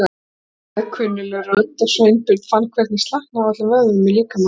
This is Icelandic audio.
sagði kunnugleg rödd og Sveinbjörn fann hvernig slaknaði á öllum vöðvum í líkama hans.